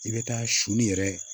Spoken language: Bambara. I bɛ taa soni yɛrɛ